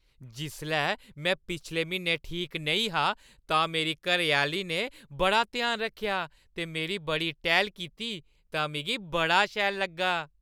जिसलै में पिछले म्हीनै ठीक नेईं हा तां मेरी घरैआह्‌ली ने बड़ा ध्यान रक्खेआ ते मेरी बड़ी टैह्‌ल कीती तां मिगी बड़ा शैल लग्गा।